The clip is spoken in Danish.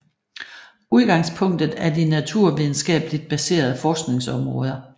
Udgangspunktet er de naturvidenskabeligt baserede forskningsområder